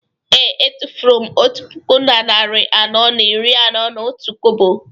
Ee. Etufuru m otu puku na narị anọ na iri na otu kobo